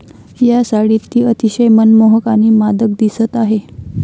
या साडीत ती अतिशय मनमोहक आणि मादक दिसत आहे.